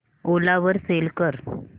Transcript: ओला वर सेल कर